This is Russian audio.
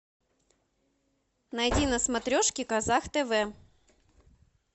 найди на смотрешке казах тв